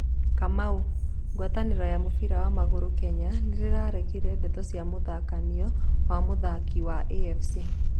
Kamau: gwatanĩro ya mũbira wa magũrũ Kenya nĩrĩraregire ndeto cia mũthutũkanio wa mũthaki wa AFC